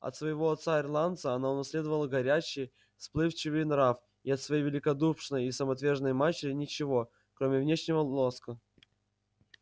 от своего отца-ирландца она унаследовала горячий вспыльчивый нрав и от своей великодушной и самоотверженной матери ничего кроме внешнего лоска